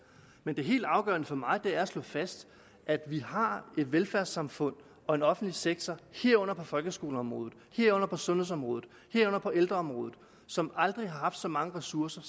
men det helt afgørende for mig er at slå fast at vi har et velfærdssamfund og en offentlig sektor herunder på folkeskoleområdet sundhedsområdet og ældreområdet som aldrig før har haft så mange ressourcer